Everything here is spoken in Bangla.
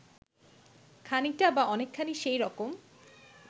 খানিকটা বা অনেকখানি সেই রকম